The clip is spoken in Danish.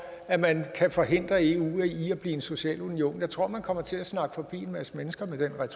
at man kan forhindre eu i at blive en social union jeg tror man kommer til at snakke forbi en masse mennesker